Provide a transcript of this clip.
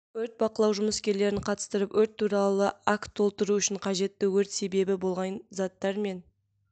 өрт бақылау жұмыскерлерін қатыстырып өрт туралы акт толтыру үшін қажетті өрт себебі болған заттар мен